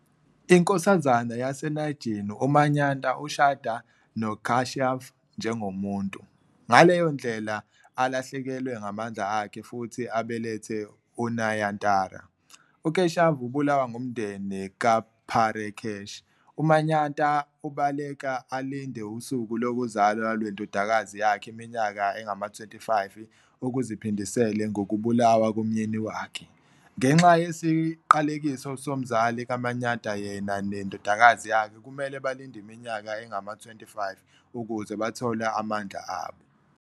Inkosazana yaseNaagin uManyata ushada noKeshav njengomuntu, ngaleyo ndlela alahlekelwe ngamandla akhe futhi abelethe uNayantara. UKeshav ubulawa ngumndeni kaParekh. UManyata ubaleka alinde usuku lokuzalwa lwendodakazi yakhe iminyaka engama-25 ukuzeaphindisele ngokubulawa komyeni wakhe. Ngenxa yesiqalekiso somzali kaManyata yena nendodakazi yakhe kumele balinde iminyaka engama-25 ukuze bathole amandla abo.